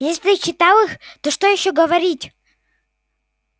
если ты читал их то что ещё говорить